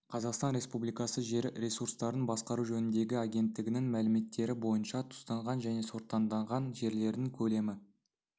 қазақстан республикасы жер ресурстарын басқару жөніндегі агенттігінің мәліметтері бойынша тұзданған және сортаңданған жерлердің көлемі